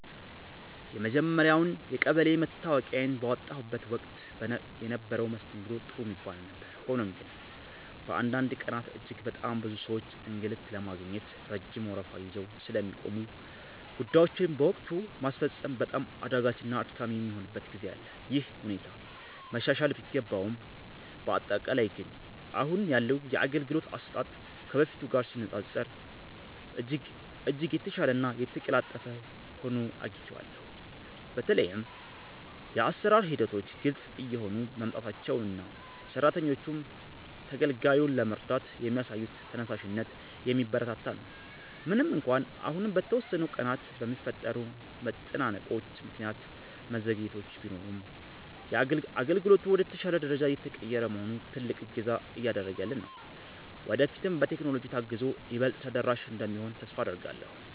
የመጀመርያውን የቀበሌ መታወቂያዬን ባወጣሁበት ወቅት የነበረው መስተንግዶ ጥሩ የሚባል ነበር። ሆኖም ግን፣ በአንዳንድ ቀናት እጅግ በጣም ብዙ ሰዎች አገልግሎት ለማግኘት ረጅም ወረፋ ይዘው ስለሚቆሙ፣ ጉዳዮችን በወቅቱ ማስፈጸም በጣም አዳጋችና አድካሚ የሚሆንበት ጊዜ አለ። ይህ ሁኔታ መሻሻል ቢገባውም፣ በአጠቃላይ ግን አሁን ያለው የአገልግሎት አሰጣጥ ከበፊቱ ጋር ሲነፃፀር እጅግ የተሻለና የተቀላጠፈ ሆኖ አግኝቼዋለሁ። በተለይም የአሰራር ሂደቶች ግልጽ እየሆኑ መምጣታቸውና ሰራተኞቹም ተገልጋዩን ለመርዳት የሚያሳዩት ተነሳሽነት የሚበረታታ ነው። ምንም እንኳን አሁንም በተወሰኑ ቀናት በሚፈጠሩ መጨናነቆች ምክንያት መዘግየቶች ቢኖሩም፣ አገልግሎቱ ወደ ተሻለ ደረጃ እየተቀየረ መሆኑ ትልቅ እገዛ እያደረገልን ነው። ወደፊትም በቴክኖሎጂ ታግዞ ይበልጥ ተደራሽ እንደሚሆን ተስፋ አደርጋለሁ።